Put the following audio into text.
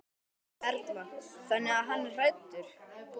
Erla: Þannig að hann er hræddur?